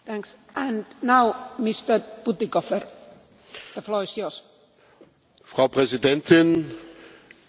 Frau Präsidentin, sehr geehrter Vertreter des Rates, Herr Kommissar, liebe Kolleginnen und Kollegen!